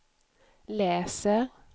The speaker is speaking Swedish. läser